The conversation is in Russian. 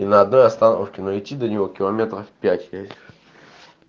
и на одной остановке но идти до неё километров пять веришь